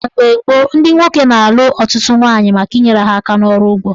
Mgbe gboo, ndị nwoke na-alụ ọtụtụ nwaanyị maka inyere ha aka n'ọrụ ugbo.